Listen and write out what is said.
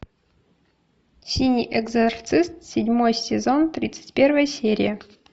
синий экзорцист седьмой сезон тридцать первая серия